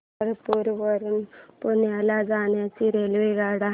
पंढरपूर वरून पुण्याला जाणार्या रेल्वेगाड्या